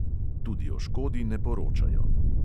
Tudi o škodi ne poročajo.